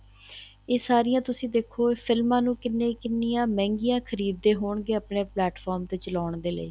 ਇਹ ਸਾਰੀਆਂ ਤੁਸੀਂ ਦੇਖੋ ਇਹ ਫਿਲਮਾਂ ਨੂੰ ਕਿੰਨੇ ਕਿੰਨੀਆਂ ਮਹਿੰਗਈਆਂ ਖ਼ਰੀਦ ਦੇ ਹੋਣਗੇ ਆਪਣੇ plant-from ਤੇ ਚਲਾਉਣ ਦੇ ਲਈ